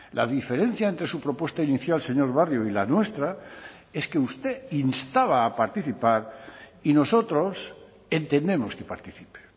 la diferencia entre su propuesta inicial señor barrio y la nuestra es que usted instaba a participar y nosotros entendemos que participe